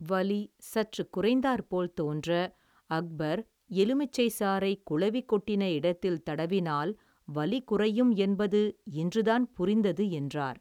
வலி சற்றுக் குறைந்தாற்போல் தோன்ற அக்பர் எலுமிச்சைச் சாறை குளவிக் கொட்டின இடத்தில் தடவினால் வலி குறையும் என்பது இன்றுதான் புரிந்தது என்றார்.